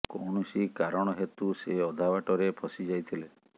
କୌଣସି କାରଣ ହେତୁ ସେ ଅଧା ବାଟରେ ଫସି ଯାଇଥିଲେ